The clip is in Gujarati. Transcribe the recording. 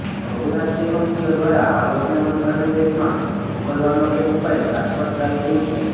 બહુરાષ્ટ્રીય કંપનીઓ દ્વારા આવકને મનપસંદ દેશમાં મોકલવાનો એક ઉપાય ટ્રાન્સ્ફર પ્રાઈસિંગ છે